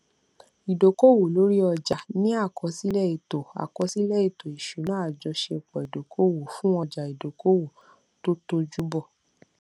ìdókòwò lórí ọjà ní àkọsílẹ ètò àkọsílẹ ètò ìṣúná àjọṣepọ ìdókòwò fún ọjà ìdókòwò tó tójú bọ